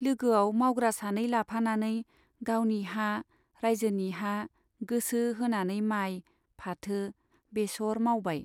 लोगोआव मावग्रा सानै लाफानानै गावनि हा , राइजोनि हा गोसो होनानै माइ , फाथो , बेसर मावबाय।